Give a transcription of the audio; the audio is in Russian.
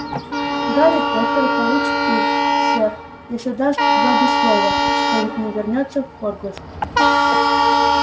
гарри поттер получит их сэр если даст добби слово что не вернётся в хогвартс